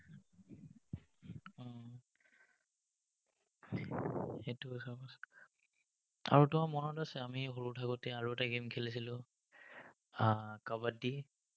সেইটো আৰু তোমাৰ মনত আছে, আমি সৰু থাকোতে যে, আৰু এটা game খেলিছিলো, হম কাবাদ্দী?